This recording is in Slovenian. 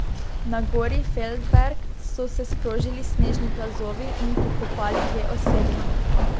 Na gori Feldberg so se sprožili snežni plazovi in pokopali dve osebi.